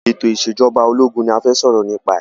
Ètò ìsèjọba ológun ni a fẹ́ sọ̀rọ̀ nipa ẹ̀